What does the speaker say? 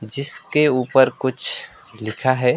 जिसके ऊपर कुछ लिखा है।